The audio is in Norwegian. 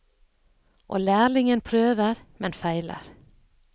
Og lærlingen prøver, men feiler.